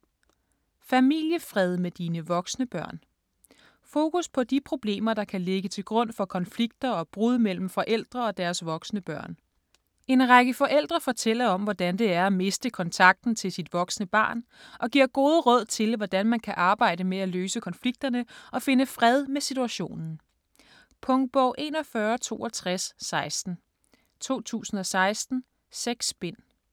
Familiefred med dine voksne børn Fokus på de problemer, der kan ligge til grund for konflikter og brud mellem forældre og deres voksne børn. En række forældre fortæller om, hvordan det er at miste kontakten til sit voksne barn og giver gode råd til, hvordan man kan arbejde med at løse konflikterne og finde fred med situationen. Punktbog 416216 2016. 6 bind.